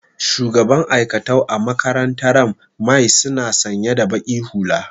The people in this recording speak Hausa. shugaban aikatau a makarantaran my suna sanya da baki hulla